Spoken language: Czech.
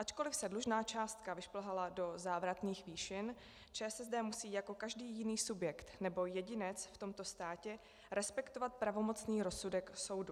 Ačkoliv se dlužná částka vyšplhala do závratných výšin, ČSSD musí jako každý jiný subjekt nebo jedinec v tomto státě respektovat pravomocný rozsudek soudu.